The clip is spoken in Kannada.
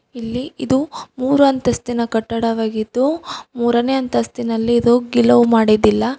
ಇಲ್ಲಿ ಇದು ಮೂರು ಅಂತಸ್ತಿನ ಕಟ್ಟಡವಾಗಿದ್ದು ಮೂರನೇ ಅಂತಸ್ತಿನಲ್ಲಿ ಇದು ಗಿಲವು ಮಾಡಿದ್ದಿಲ್ಲ.